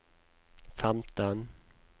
femten